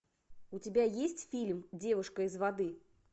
у тебя есть фильм девушка из воды